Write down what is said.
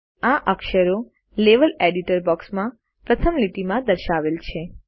નોંધ લો કે આ અક્ષરો લેવેલ એડિટર બોક્સમાં પ્રથમ લીટી માં દર્શાવેલ છે